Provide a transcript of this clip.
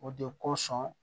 O de kosɔn